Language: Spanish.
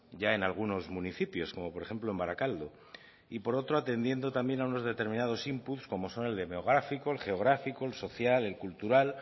ya en algunos municipios como por ejemplo en barakaldo y por otro atendiendo también a unos determinados inputs como son el demográfico el geográfico el social el cultural